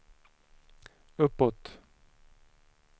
uppåt